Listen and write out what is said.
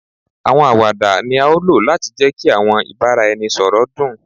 Awọn awada ni a lo lati jẹ ki awọn ibaraẹnisọrọ dun